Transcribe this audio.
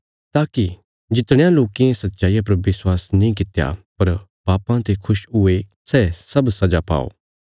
ताकि जितणयां लोकें सच्चाईया पर विश्वास नीं कित्या पर पापां ते खुश हुये सै सब सजा पाओ